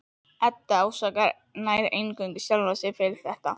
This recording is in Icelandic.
Edda ásakar nær eingöngu sjálfa sig fyrir þetta.